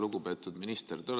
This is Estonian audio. Lugupeetud minister!